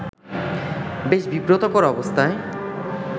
বেশ বিব্রতকর অবস্থায়